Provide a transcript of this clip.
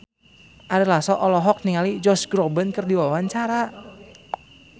Ari Lasso olohok ningali Josh Groban keur diwawancara